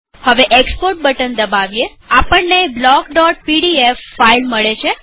હવે export button દબાવીએઆપણને block PDF file મળે છે